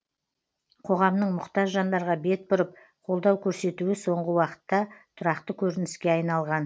қоғамның мұқтаж жандарға бет бұрып қолдау көрсетуі соңғы уақытта тұрақты көрініске айналған